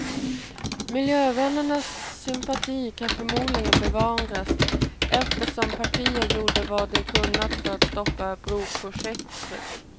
Miljövännernas sympati kan förmodligen bevaras, eftersom partiet gjort vad det kunnat för att stoppa broprojektet.